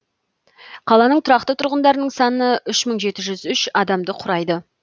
қаланың тұрақты тұрғындарының саны үш мың жеті жүз үш адамды құрайды